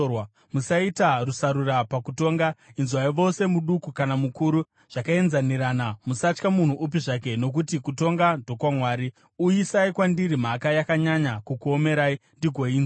Musaita rusarura pakutonga; inzwai vose muduku kana mukuru zvakaenzanirana. Musatya munhu upi zvake, nokuti kutonga ndokwaMwari. Uyisai kwandiri mhaka yakanyanya kukuomerai, ndigoinzwa.